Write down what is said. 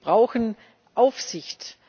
Wir brauchen Aufsicht.